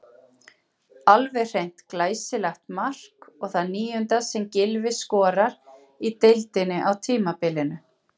Alveg hreint glæsilegt mark og það níunda sem Gylfi skorar í deildinni á tímabilinu.